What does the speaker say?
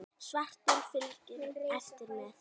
Svartur fylgir eftir með.